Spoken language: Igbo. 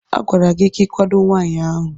A gwara gị ka ị kwado nwaanyị ahụ!